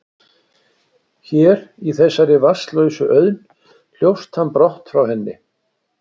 Hér, í þessari vatnslausu auðn, hljópst hann brott frá henni.